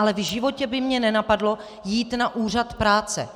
Ale v životě by mě nenapadlo jít na úřad práce.